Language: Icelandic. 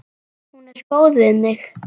Hún er góð við mig.